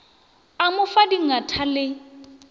a mo fa dingatha le